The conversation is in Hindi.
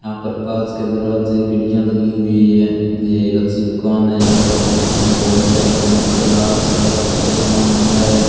यहां पर कांच के दरवाजे खिड़कियां लगी हुई है ये एक अच्छी दुकान है यहां पर होम डेकोर मेटल आर्ट सब को सामान मिलता है।